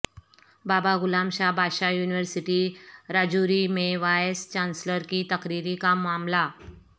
بابا غلام شاہ بادشاہ یونیورسٹی راجوری میں vice chancellor کی تقرری کامعاملہ